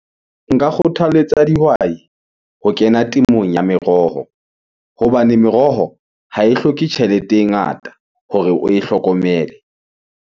Nka kgothaletsa dihwai ho kena temong ya meroho. Hobane meroho ha e hloke tjhelete e ngata hore oe hlokomele.